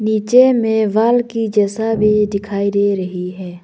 नीचे में वॉल के जैसा भी दिखाई दे रही है।